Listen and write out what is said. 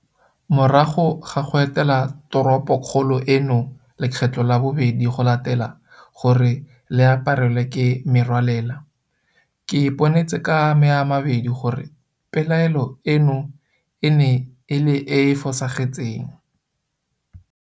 Morago ga go etela toropokgolo eno lekgetlo la bobedi go latela gore le aparelwe ke merwalela, ke iponetse ka ame a mabedi gore pelaelo eno e ne e le e e fosagetseng.